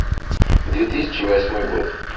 две тысячи восьмой год